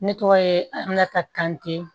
Ne tɔgɔ ye amadu ka kante